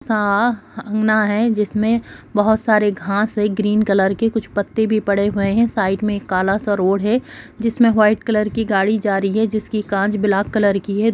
सा अंगना हेय जिसमें बहुत सारे घास है ग्रीन कलर के कुछ पत्ते भी पड़े हुए हैं साइड में एक काला सा रोड है जिसमें व्हाइट कलर की गाड़ी जा रही है जिसकी कांच ब्लैक कलर की है।